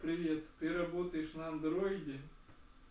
привет ты работаешь на андроиде